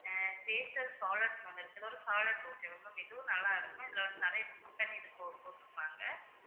taster salad ஒன்னு இருக்கு இது ஒரு salad okay வா ma'am இதுவும் நல்லா இருக்கும் இதுல வந்து நிறைய biscuit இது போ~ போட்டிருப்பாங்க.